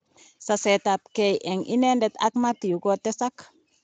Saset ab ge eng inedet ak Mathew kotesak.